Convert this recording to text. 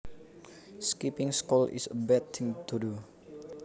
Skipping school is a bad thing to do